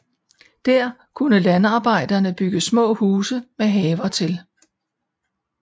Der kunne landarbejderne bygge små huse med haver til